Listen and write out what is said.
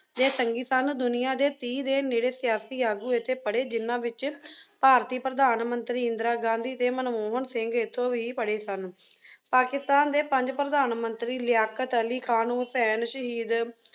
ਦੇ ਸੰਗੀ ਸਨ। ਦੁਨੀਆ ਦੇ ਤੀਹ ਦੇ ਨੇੜੇ ਸਿਆਸੀ ਆਗੂ ਇੱਥੇ ਪੜ੍ਹੇ ਜਿਹਨਾਂ ਵਿੱਚ ਭਾਰਤੀ ਪ੍ਰਧਾਨ-ਮੰਤਰੀ ਇੰਦਰਾ ਗਾਂਧੀ ਅਤੇ ਮਨਮੋਹਨ ਸਿੰਘ ਇਥੋਂ ਹੀ ਪੜ੍ਹੇ ਸਨ। ਪਾਕਿਸਤਾਨ ਦੇ ਪੰਜ ਪ੍ਰਧਾਨ-ਮੰਤਰੀ ਲਿਆਕਤ ਅਲੀ ਖ਼ਾਨ, ਹੁਸੈਨ ਸ਼ਹੀਦ